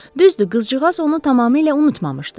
Düzdür, qızcığaz onu tamamilə unutmamışdı.